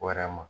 Wɛrɛ ma